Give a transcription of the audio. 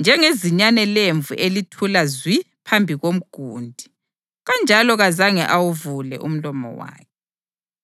njengezinyane lemvu elithula zwi phambi komgundi, kanjalo kazange awuvule umlomo wakhe.